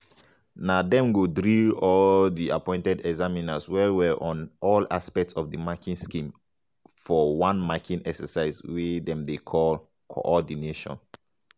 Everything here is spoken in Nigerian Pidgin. na dem go drill all di appointed examiners well-well on all aspects of di marking scheme for one marking exercise wey dem dey call co-ordination.